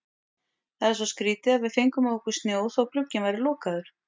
Það er svo skrýtið að við fengum á okkur snjó þótt glugginn væri lokaður.